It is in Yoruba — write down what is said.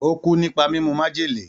Ó kú nípa mímu májèlé.